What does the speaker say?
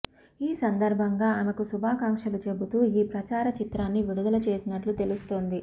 ఈ సందర్భంగా ఆమెకు శుభాకాంక్షలు చెబుతూ ఈ ప్రచార చిత్రాన్ని విడుదల చేసినట్లు తెలుస్తోంది